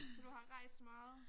Så du har rejst meget